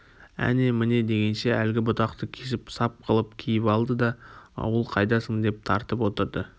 әне-міне дегенше әлгі бұтақты кесіп сап қылып киіп алды да ауыл қайдасың деп тартып отырды